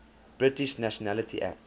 british nationality act